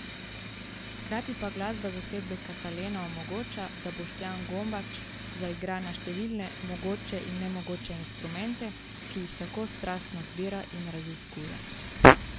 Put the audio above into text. Hkrati pa glasba zasedbe Katalena omogoča, da Boštjan Gombač zaigra na številne mogoče in nemogoče inštrumente, ki jih tako strastno zbira in raziskuje!